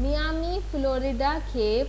Miami, Florida کان